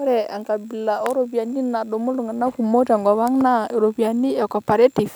Ore engabila oo ropiyiani naadumu iltung'anak te Nkop oleng' naa engabilani ekoparative